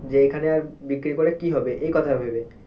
যে এখানে আর বিক্রি করে কি হবে এই কথাটা ভেবে।